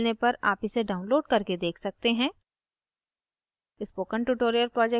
अच्छी bandwidth न मिलने पर आप इसे download करके देख सकते हैं